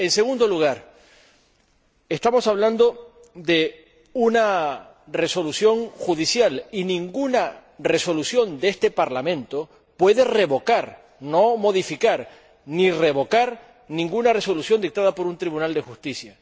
En segundo lugar, estamos hablando de una resolución judicial, y ninguna resolución de este Parlamento puede revocar ni modificar ninguna resolución dictada por un tribunal de justicia.